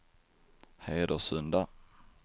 Hedesunda